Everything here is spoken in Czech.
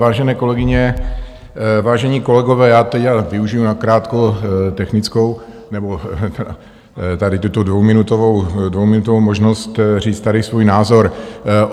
Vážené kolegyně, vážení kolegové, já teď využiji nakrátko technickou nebo tady tuto dvouminutovou možnost říct tady svůj názor.